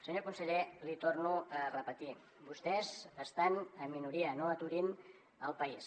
senyor conseller l’hi torno a repetir vostès estan en minoria no aturin el país